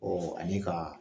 ani ka